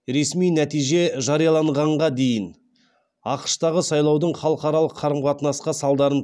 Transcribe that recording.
ресми нәтиже жарияланғанға дейін ақш тағы сайлаудың халықаралық қарым қатынасқа салдарын